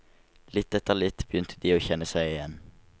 Litt etter litt begynte de å kjenne seg igjen.